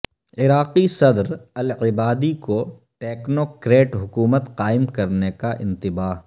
عراقی صدرالعبادی کو ٹیکنو کریٹ حکومت قائم کرنے کا انتباہ